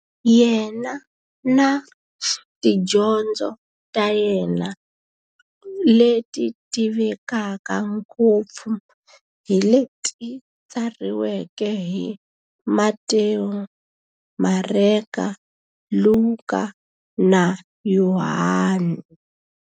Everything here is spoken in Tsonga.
Yena na tidyondzo ta yena, leti tivekaka ngopfu hi leti tsariweke hi Matewu, Mareka, Luka, na Yohani.